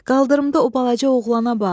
Qaldırımda o balaca oğlana bax.